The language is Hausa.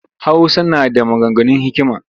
Hausa na da maganganun hikima